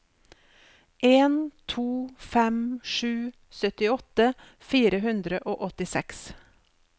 en to fem sju syttiåtte fire hundre og åttiseks